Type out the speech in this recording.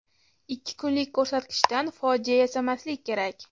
Ikki kunlik ko‘rsatkichdan fojia yasamaslik kerak.